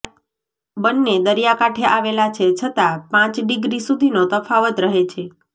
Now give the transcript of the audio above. બન્ને દરિયા કાંઠે આવેલા છે છતા પ ડીગ્રી સુધીનો તફાવત રહે છે